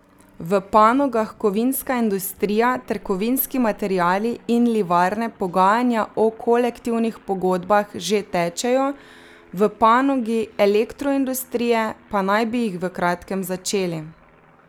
V panogah kovinska industrija ter kovinski materiali in livarne pogajanja o kolektivnih pogodbah že tečejo, v panogi elektroindustrije pa naj bi jih v kratkem začeli.